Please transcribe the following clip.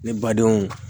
Ne ba denw